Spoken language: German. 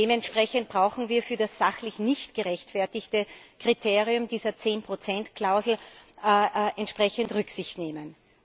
Dementsprechend brauchen wir für das sachlich nicht gerechtfertigte Kriterium dieser 10 Klausel entsprechend keine Rücksicht nehmen.